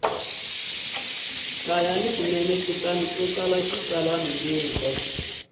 swinene kutani u tsala xitsalwambiko